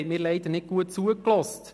Sie haben mir leider nicht gut zugehört.